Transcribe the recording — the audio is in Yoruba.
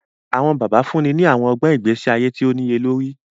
Awọn bàbá fúnni ni awọn ọgbọn ìgbésí ayé tíì o niyelori